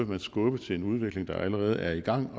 man skubbe til en udvikling der allerede er i gang